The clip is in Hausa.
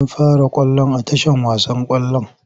An fara ƙwallon a tashar wasan ƙwallon?